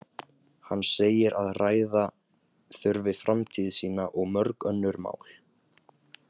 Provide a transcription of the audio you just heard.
Hann segir að ræða þurfi framtíð sína og mörg önnur mál.